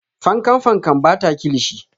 Fankan fankan ba ta kilishi.